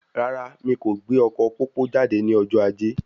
Rárá, mí kò gbé ọkọ pópó jáde ní ọjọ ajé